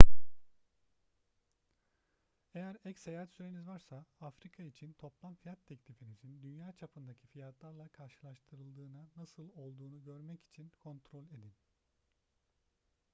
eğer ek seyahat süreniz varsa afrika için toplam fiyat teklifinizin dünya çapındaki fiyatlarla karşılaştırıldığına nasıl olduğunu görmek için kontrol edin